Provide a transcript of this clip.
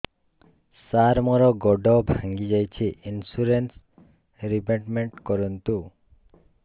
ସାର ମୋର ଗୋଡ ଭାଙ୍ଗି ଯାଇଛି ଇନ୍ସୁରେନ୍ସ ରିବେଟମେଣ୍ଟ କରୁନ୍ତୁ